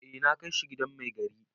Eh na kai shi gidan mai gari.